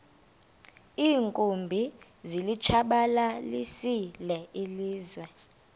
iinkumbi zilitshabalalisile ilizwe